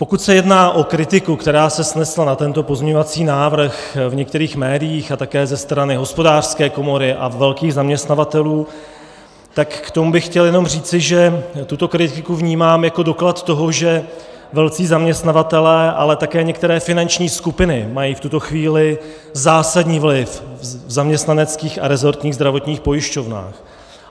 Pokud se jedná o kritiku, která se snesla na tento pozměňovací návrh v některých médiích a také ze strany Hospodářské komory a velkých zaměstnavatelů, tak k tomu bych chtěl jenom říci, že tuto kritiku vnímám jako doklad toho, že velcí zaměstnavatelé, ale také některé finanční skupiny mají v tuto chvíli zásadní vliv v zaměstnaneckých a rezortních zdravotních pojišťovnách.